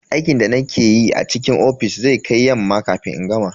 Aikin da nake yi a cikin ofis zai kai yamma kafin in gama.